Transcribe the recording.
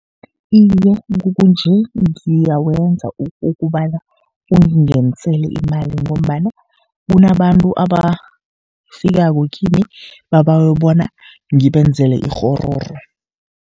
Iye, kukunje ngiyawenza kobana ungingenisele imali, ngombana kunabantu abafikako kimi babawe bona ngibenzele ikghororo.